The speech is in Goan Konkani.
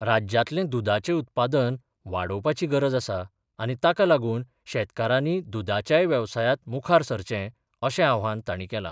राज्यातले दुदाचे उत्पादन वाडोवपाची गरज आसा आनी ताका लागून शेतकारानी दुदाच्याय वेवसायात मुखार सरचे अशे आव्हान ताणी केले.